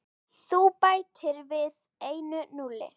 Þú bætir við einu núlli.